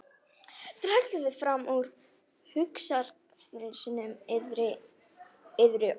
Dragið fram úr hugarfylgsnum yðar orðin Þórunnar.